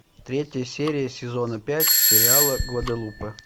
третья серия сезона пять сериала гваделупа